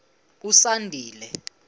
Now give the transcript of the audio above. usandile